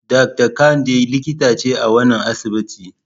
Dakta Kande likita ce a wannan asibiti.